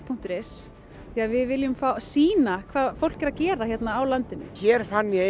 punktur is því við viljum sýna hvað fólk er að gera hérna á landinu hér fann ég